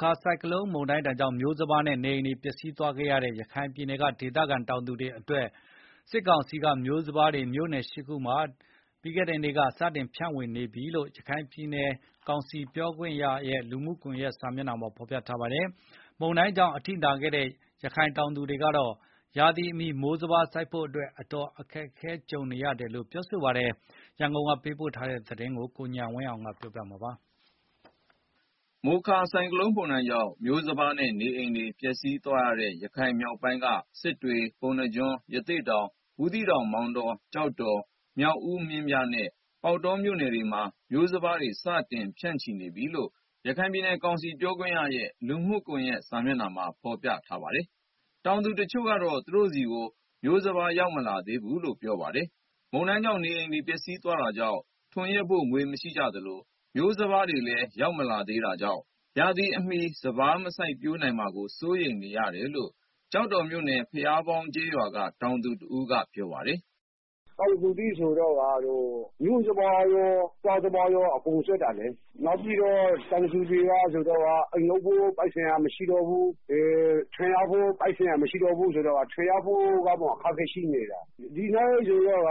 ခါ ဆိုင်ကလုန်း မုန်တိုင်းကြောင့် မျိုးစပါးနဲ့ နေအိမ်တွေ ပျက်စီးသွားခဲ့ရတဲ့ ရခိုင်ပြည်နယ်က ဒေသခံတောင်သူတွေအတွက် စစ်ကောင်စီက မျိုးစပါးတွေ မြို့နယ် ၈ ခုမှာ ကြာသပတေးနေ့က စတင်ဖြန့်ဝေနေပြီလို့ ရခိုင်ပြည်နယ်ကောင်စီ ပြောခွင့်ရရဲ့ လူမှုကွန်ယက်စာမျက်နှာမှာ ဖော်ပြထားပါတယ်။ မုန်တိုင်းကြောင့် အထိနာခဲ့တဲ့ ရခိုင်တောင်သူတွေကတော့ ရာသီအမီ မိုးစပါးစိုက်ဖို့အတွက် အတော် အခက်ကြုံနေရတယ်လို့ ပြောပါတယ်။ ရန်ကုန်ကပေးပို့တဲ့သတင်းကို ကိုဉာဏ်ဝင်းအောင် ပြောပြမှာပါ။ မိုခါဆိုင်ကလုန်း မုန်တိုင်းကြောင့် မျိုးစပါးနဲ့ နေအိမ်တွေ ပျက်စီးသွားတဲ့ ရခိုင်မြောက်ပိုင်းက စစ်တွေ၊ ပုဏ္ဏားကျွန်း၊ ရသေ့တောင်၊ ဘူးသီးတောင်၊ မောင်တော၊ ကျောက်တော်၊ မြောက်ဦး၊ မင်းပြားနဲ့ ပေါက်တော မြို့နယ်တွေမှာ မျိုးစပါးတွေ စတင်ဖြန့်ချိနေပြီလို့ ရခိုင်ပြည်နယ်ကောင်စီပြောခွင့်ရရဲ့ လူမှုကွန်ယက် စာမျက်နှာမှာ ဖော်ပြထားပါတယ်။ တောင်သူတချို့ကတော့ သူတို့ဆီ မျိုးစပါး ရောက်မလာသေးဘူးလို့ ပြောပါတယ်။ မုန်တိုင်းကြောင့် နေအိမ်တွေ ပျက်စီးသွားတာကြောင့် ထွန်ယက်ဖို့ ငွေမရှိသလို မျိုးစပါးတွေလည်း မရောက်သေးတာကြောင့် ရာသီမီစပါး မစိုက်ပျိုးနိုင်မှာကို စိုးရိမ်တယ်လို့ ကျောက်တော်မြို့နယ် ဘုရားပေါင်းကျေးရွာ တောင်သူတဦးက ပြောပါတယ်။ “ တောင်သူတွေမှာက မိုးစပါးတွေရော စားမယ့်စပါးတွေပါ အကုန်ပျက်စီးသွားတာလေ နောက်ပြီးတော့ တောင်သူ တွေမှာအိမ်လုပ်ဖို့ ပိုက်ဆံက မရှိဘူး၊ ထွန်ယက်ဖို့အတွက် ပိုက်ဆံတွေပါ မရှိတော့ဘူးဆိုတော့ ထွန်ယက်ဖို့ကအစ အခက်အခဲရှိတယ်။ ဒီအတိုင်းဆိုရင်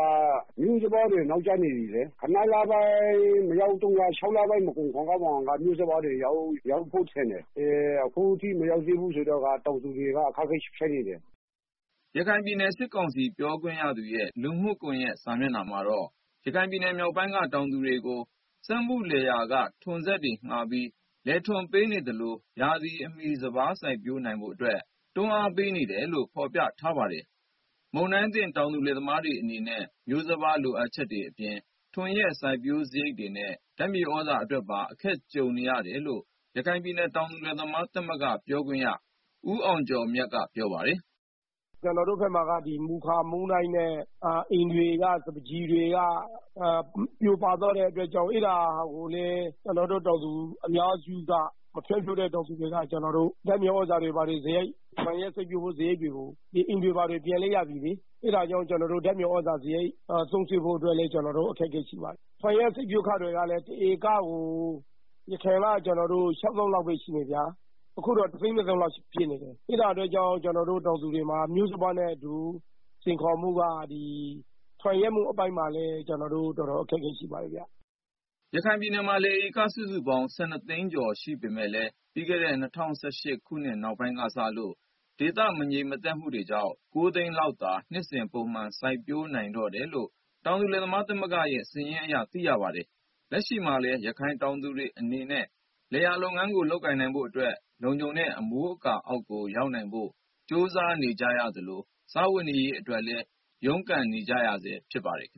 မျိုးစပါးတွေ နောက်ကျနေပီလေ။ ၆ လပိုင်း မကုန်ခင်ကတည်း မျိုးစပါးတွေ ရောက်မယ်ထင်တာ အခု ၇ လပိုင်းအထိ မရောက်သေးဘူးဆိုတော့ တောင်သူတွေ အခက်အခဲ ဖြစ်နေတယ်။” ရခိုင်ပြည်နယ် စစ်ကောင်စီပြောခွင့်ရသူရဲ့ လူမှုစာမျက်နှာမှာတော့ ရခိုင်မြောက်ပိုင်းက တောင်သူတွေကို စက်မှုလယ်ယာက ထွန်စက်တွေငှားပြီး လယ်ထွန်ပေးနေသလို ရာသီမီစပါး စိုက်ပျိုးနိုင်ဖို့အတွက် တွန်းအားပေးနေတယ်လို့ ဖော်ပြထားပါတယ်။ မုန်တိုင်းဒဏ်သင့် တောင်သူလယ်သမားတွေအနေနဲ့ မျိုးစပါး လိုအပ်ချက်တွေအပြင် ထွန်ယက် စိုက်ပျိုးစရိတ်တွေနဲ့ ဓာတ်မြေသြဇာ အတွက်ပါ အခက်ကြုံနေကြရတယ်လို့ ရခိုင်ပြည်နယ် တောင်သူလယ်သမား သမဂ္ဂပြောခွင့်ရ ဦးအောင်ကျော်မြတ်က ပြောပါတယ်။ “ ကျနော်တို့ဘက်မှာက မိုခါမုန်တိုင်းနဲ့ အိမ်တွေနဲ့ စပါးကျီတွေက ပြိုပါသွားတဲ့အတွက် ကျနော်တို့ တောင်သူတွေက ဓာတ်မြေသြဇာစရိတ် ထွန်ယက်စိုက်ပျိုး စရိတ်တွေကို အိမ်တွေဘာတွေ ပြင်လိုက်တော့ ကုန်သွားပြီလေ။ အဲဒါကြောင့် ဓာတ်မြေသြဇာ သုံးစွဲဖို့ အတွက်လည်း တော်တော်လေး အခက်အခဲရှိပါတယ်။ ထွန်ယက်စိုက်ပျိုးခတွေကလည်း အရင်က တဧကကို ၆ သောင်းလောက်ပဲ ရှိတာ။ အခုက ၁ သိန်း ၂ သောင်းလောက် ဖြစ်နေပြီ။ အဲဒါကြောင့် ကျနော်တို့ တောင်သူတွေမှာ မျိုးစပါးနဲ့အတူ ထွန်ယက်စိုက်ပျိုးရေး အပိုင်းမှာလည်း အခက်အခဲ ရှိပါတယ်ဗျာ။” ရခိုင်ပြည်နယ်မှာ လယ်ဧက စုစုပေါင်း ၁၂ သိန်းကျော် ရှိပေမဲ့လည်း ပြီးခဲ့တဲ့ ၂၀၁၈ ခုနှစ် နောက်ပိုင်းကစလို့ ဒေသ မငြိမ်မသက်မှုတွေကြောင့် ဧက ၉ သိန်းလောက်သာ နှစ်စဉ်ပုံမှန် စိုက်ပျိုးနိုင်တော့တယ်လို့ တောင်သူလယ်သမားသမဂ္ဂရဲ့ စာရင်းအရ သိရပါတယ်။ လက်ရှိမှာလည်း ရခိုင်တောင်သူတွေအနေနဲ့ လယ်ယာလုပ်ငန်းကို လုပ်ကိုင်နိုင်ဖို့အတွက် လုံခြုံတဲ့ အမိုးအကာအောက်ကို ရောက်နိုင်ဖို့ ကြိုးစားနေကြသလို၊ စားဝတ်နေရေးအတွက်လည်း ရုန်းကန် နေကြရတာလည်း ဖြစ်ပါတယ်။